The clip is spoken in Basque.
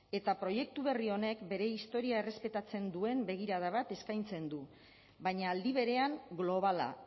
eta proiektu berri honek bere historia errespetatzen duen begirada bat eskaintzen du baina aldi berean globala